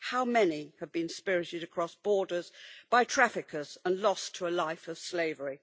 How many have been spirited across borders by traffickers and lost to a life of slavery?